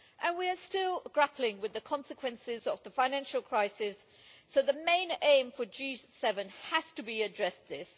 And we are still grappling with the consequences of the financial crisis, so the main aim for the G7 has to be to address this.